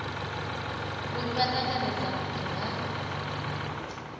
uri vha ṱanganedza vhubvo ha